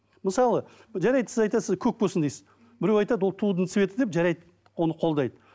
мысалы жарайды сіз айтасыз көк болсын дейсіз біреу айтады ол тудың цветі деп жарайды оны қолдайды